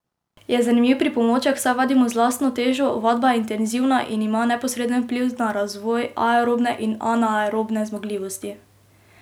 Je zanimiv pripomoček, saj vadimo z lastno težo, vadba je intenzivna in ima neposreden vpliv na razvoj aerobne in anaerobne zmogljivosti.